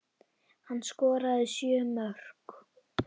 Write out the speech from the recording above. Hann skoraði sjö mörk.